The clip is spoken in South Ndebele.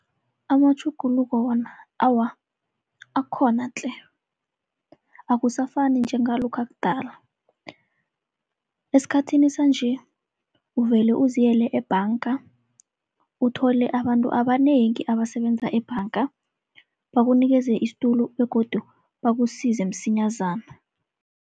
Amatjhuguluko wona awa akhona tle akusafani njengalokha kudala. Esikhathini sanje uvele uziyele ebhanga uthole abantu abanengi abasebenza ebhanga, bakunikele isitulo begodu bakusize msinyazana.